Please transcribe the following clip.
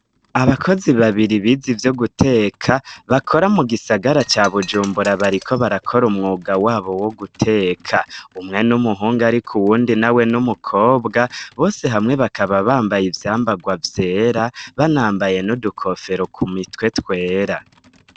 Abakozi babiri bize ivyo guteka bakora mu gisagara ca bujumbura bariko barakora umwuga wabo wo guteka umwe n'umuhungu, ariko uwundi na we n'umukobwa bose hamwe bakaba bambaye ivyambarwa vyera banambaye no dukofero ku mitwe twera.